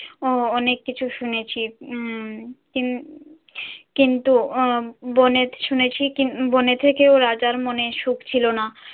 আহ অনেক কিছু শুনেছি। উম কিন~ কিন্তু আহ বনে শুনেছি কি~ বনে থেকেও রাজার মনে সুখ ছিল না।